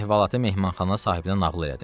Gəlib əhvalatı mehmanxana sahibinə nağıl elədim.